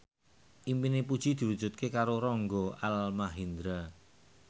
impine Puji diwujudke karo Rangga Almahendra